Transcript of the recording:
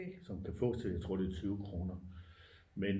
Som kan fås til jeg tror det er 20 kroner men